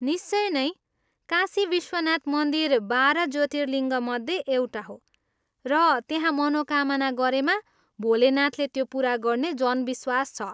निश्चय नै, काशी विश्वनाथ मन्दिर बाह्र ज्योतिर्लिङ्गमध्ये एउटा हो र त्यहाँ मनोकामना गरेमा भोलेनाथले त्यो पुरा गर्ने जनविश्वास छ!